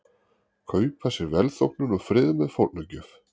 Kaupa sér velþóknun og frið með fórnargjöf.